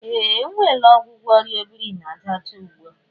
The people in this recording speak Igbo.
Ehe! E nweela ọgwụgwọ ọrịa obirinajaọcha ugbu a